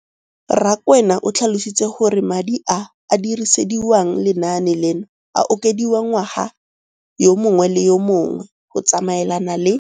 Rakwena o tlhalositse gore madi a a dirisediwang lenaane leno a okediwa ngwaga yo mongwe le yo mongwe go tsamaelana le